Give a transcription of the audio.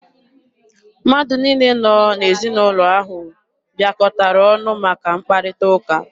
Mmadụ niile nọ n'ezinaụlọ ahụ bịakọtara ọnụ maka mkparịta ụka.